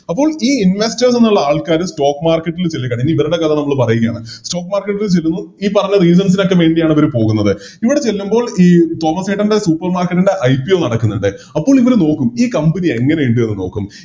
അപ്പോൾ ഈ Investor ന്ന് ന്നുള്ള ആൾക്കാര് Stock market ല് ഇനി ഇവരുടെ കഥ നമ്മള് പറയുകയാണ് Stock market ൽ ചെല്ലുന്നു ഈ പറഞ്ഞ അവര് പോകുന്നത് ഇവര് ചെല്ലുമ്പോൾ തോമസ്സേട്ടൻറെ Supermarket ൻറെ IPO നടക്കുന്നിണ്ട് അപ്പോൾ ഇങ്ങനെ നോക്കും ഈ Company എങ്ങനെ ഇണ്ട് എന്ന് നോക്കും